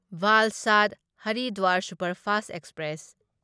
Valsad Haridwar superfast express